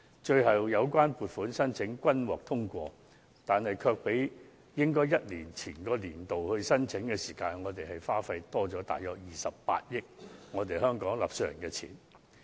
最終，有關撥款申請均獲通過，但正因延後一年才處理有關申請，結果便多花了28億元我們香港納稅人的金錢。